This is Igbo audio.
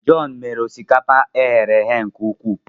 John mere osikapa e ghere eghe nke ukwuu